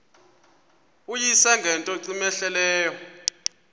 uyise ngento cmehleleyo